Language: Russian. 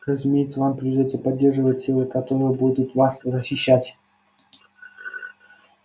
разумеется вам придётся поддерживать силы которые будут вас защищать